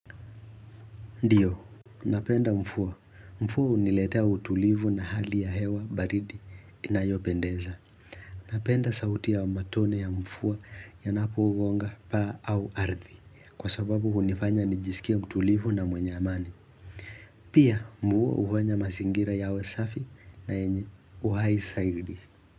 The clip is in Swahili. Ndiyo. Napenda mfuwa. Mfuwa huniletea utulivu na hali ya hewa baridi inayopendeza. Napenda sauti ya matone ya mfuwa yanapogonga pa au ardhi. Kwa sababu hunifanya nijisikie mtulivu na mwenye amani. Pia mvuwa hufanya mazingira yawe safi na yenye uhai zaidi.